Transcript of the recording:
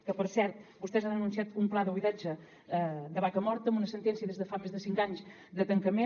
que per cert vostès han anunciat un pla de buidatge de vacamorta amb una sentència des de fa més de cinc anys de tancament